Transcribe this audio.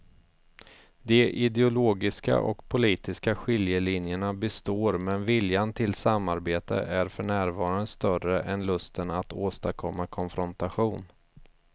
De ideologiska och politiska skiljelinjerna består men viljan till samarbete är för närvarande större än lusten att åstadkomma konfrontation.